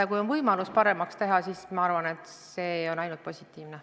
Ja kui on võimalus paremaks teha, siis ma arvan, et see on ainult positiivne.